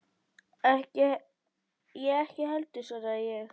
Ég ekki heldur, svaraði ég.